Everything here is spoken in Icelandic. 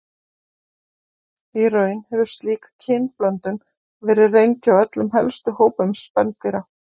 Í raun hefur slík kynblöndun verið reynd hjá öllum helstu hópum spendýra.